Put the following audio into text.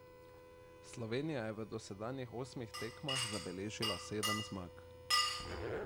Slovenija je v dosedanjih osmih tekmah zabeležila sedem zmag.